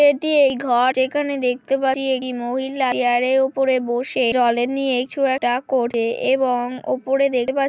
এটি এই ঘর যেখানে দেখতে পাচ্ছি এই মহিলার চেয়ার -এর ওপর বসে জল নিয়ে কিছু একটা করছে এবং উপরে দেখতে পা--